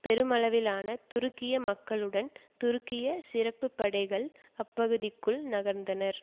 பெருமளவிலான துருக்கிய மக்களுடன் துருக்கிய சிறப்புப்படைகள் அப்பகுதிக்குள் நகர்ந்தனர்